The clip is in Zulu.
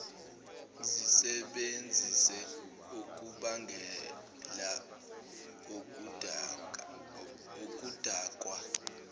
zisebenzise okubangela okudakwa